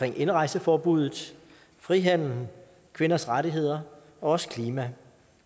indrejseforbuddet frihandel kvinders rettigheder og også klimaet